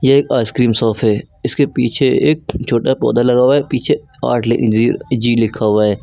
एक ice cream shot है इसके पीछे एक छोटा पौधा लगा हुआ है पीछे आठ लेकिन जी जी लिखा हुआ है।